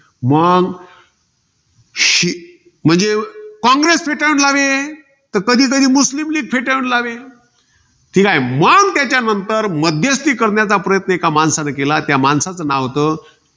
मंग श~ म्हणजे कॉंग्रेस फेटाळून लावे. तर कधीकधी मुस्लीम leauge फेटाळून लावे. ठीकाय. मग त्याच्यानंतर मध्यस्ती करण्याचा प्रयत्न एका माणसाने केला. त्या माणसाचं नाव होत,